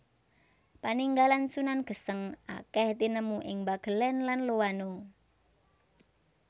Paninggalan Sunan Geseng akèh tinemu ing Bagelen lan Loano